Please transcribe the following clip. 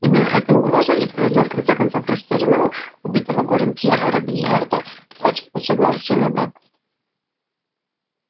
именно эта угроза и вынудила в конце концов растерянного убитого горем пьера робийяра дать согласие на брак